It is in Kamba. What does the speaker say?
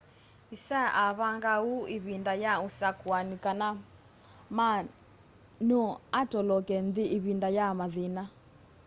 hsieh avangaa uu ivinda ya usakuani kana ma no atoloke nthi ivinda ya mathina